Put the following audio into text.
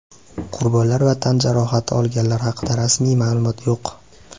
Qurbonlar va tan jarohati olganlar haqida rasmiy ma’lumot yo‘q.